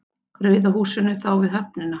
Rauða húsinu þá við höfnina.